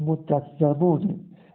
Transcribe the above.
вот так зовут